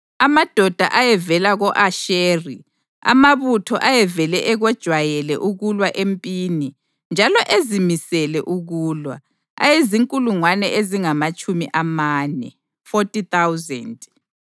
amadoda ayevela ko-Asheri, amabutho ayevele ekwejayele ukulwa empini njalo ezimisele ukulwa, ayezinkulungwane ezingamatshumi amane (40,000);